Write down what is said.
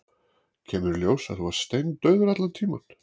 Kemur í ljós að þú varst steindauður allan tímann.